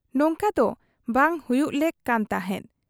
ᱱᱚᱝᱠᱟᱫᱚ ᱵᱟᱝ ᱦᱩᱭᱩᱜ ᱞᱮᱠ ᱠᱟᱱ ᱛᱟᱦᱮᱸᱫ ᱾